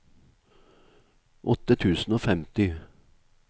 åtte tusen og femti